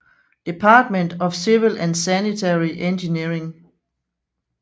Department of Civil and Sanitary Engineering